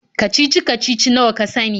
kacici-kacici nawa ka sani.